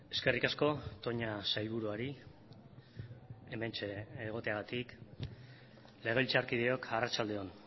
eskerrik asko toña sailburuari hementxe egoteagatik legebiltzarkideok arratsalde on